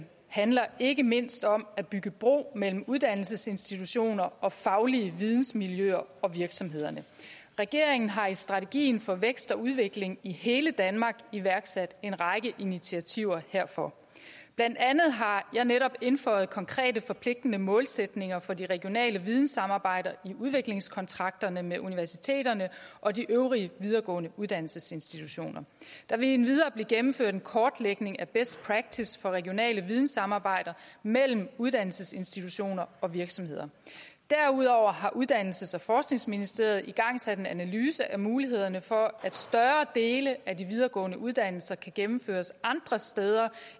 handler ikke mindst om at bygge bro mellem uddannelsesinstitutioner og faglige vidensmiljøer og virksomhederne regeringen har i strategien for vækst og udvikling i hele danmark iværksat en række initiativer herfor blandt andet har jeg netop indføjet konkrete forpligtende målsætninger for de regionale videnssamarbejder i udviklingskontrakterne med universiteterne og de øvrige videregående uddannelsesinstitutioner der vil endvidere blive gennemført en kortlægning af best practice for regionale videnssamarbejder mellem uddannelsesinstitutioner og virksomheder derudover har uddannelses og forskningsministeriet igangsat en analyse af mulighederne for at større dele af de videregående uddannelser kan gennemføres andre steder